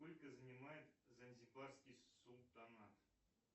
сколько занимает занзибарский султанат